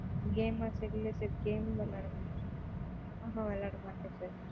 game ஆஹ் தெரில sir games விளையாட மாட்ட ஆஹான் விளையாடமாட்டேன் sir